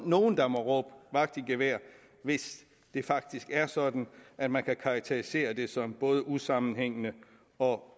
nogen der må råbe vagt i gevær hvis det faktisk er sådan at man kan karakterisere det som både usammenhængende og